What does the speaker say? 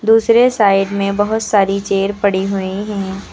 दूसरे साइड में बहोत सारी चेयर पड़ी हुई है।